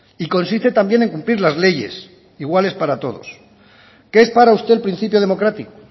y consiste también en cumplir las leyes iguales para todos qué es para usted el principio democrático